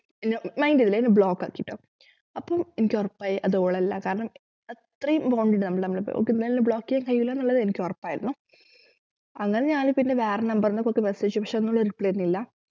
എന്നെ mind ചെയ്തില്ല എന്നെ block ആക്കിട്ടോ അപ്പോം എനിക്കൊറപ്പായി അത് ഓളല്ല കാരണം അത്രേം bond ഇണ്ട് നമ്മള് തമ്മില് ഓക്ക് എന്തായാലും എന്നെ block ചെയ്യാൻ കയ്യൂലന്നുള്ളത് എനിക്കൊറപ്പായിരുന്നു അങ്ങനെ ഞാൻ പിന്നെ വേറെ number ന്നൊക്കെ message അയച്ചു പക്ഷെ ഒന്നുഅവൾ reply തരുന്നില്ല